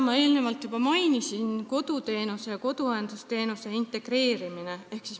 Ma eelnevalt juba mainisin koduteenuse ja koduõendusteenuse integreerimist.